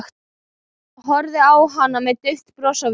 Horfði á hana með dauft bros á vörunum.